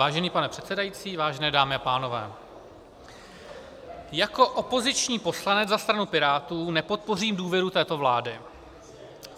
Vážený pane předsedající, vážené dámy a pánové, jako opoziční poslanec za stranu Pirátů nepodpořím důvěru této vládě.